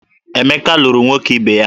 Emeka lụrụ nwoke ibe ya